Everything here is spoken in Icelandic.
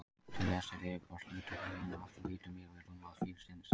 Til þess er yfirborðsflötur húðarinnar alltof lítill miðað við rúmmál fílsins.